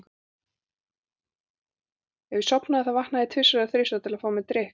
Ef ég sofnaði þá vaknaði ég tvisvar eða þrisvar til þess að fá mér drykk.